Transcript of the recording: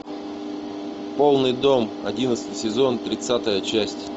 полный дом одиннадцатый сезон тридцатая часть